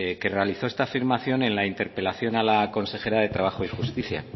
que realizó esta afirmación en la interpelación a la consejera de trabajo y justicia